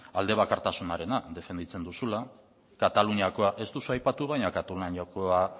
alde bakartasunarena defenditzen duzula kataluniako ez duzu aipatu baina kataluniakoa